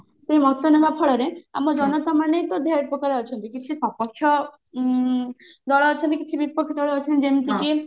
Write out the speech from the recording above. ସେ ମତ ନେବା ଫଳରେ ଆମ ଜନତା ମାନେ ତ ଢେର ପ୍ରକାର ଅଛନ୍ତି କିଛି ସପକ୍ଷ୍ୟ ଉଁ ଦଳ ଅଛନ୍ତି କିଛି ବିପକ୍ଷ ଦଳ ଅଛନ୍ତି ଯେମତିକି